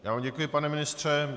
Já vám děkuji, pane ministře.